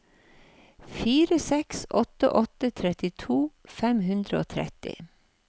fire seks åtte åtte trettito fem hundre og tretti